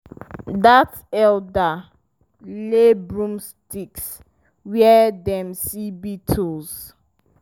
dat elder lay broomsticks where dem see beetles.